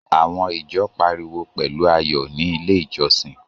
Àwọn ìjọ pariwo pẹ̀lú ayọ̀ ní Ilé-ìjọsìn.